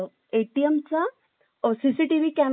CCTV camera वर हात ठेवलेला ग